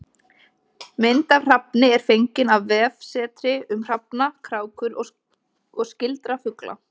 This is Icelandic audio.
Mynd af hrafni er fengin af vefsetri um hrafna, krákur og skyldra fugla.